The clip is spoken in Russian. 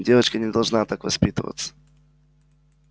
девочка не должна так воспитываться